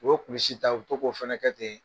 U' bɛ kunsi ta, o fana ta bɛ kɛ ten.